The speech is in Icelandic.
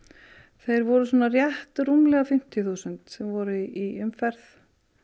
þeir voru svona rétt rúmlega fimmtíu þúsund sem voru í umferð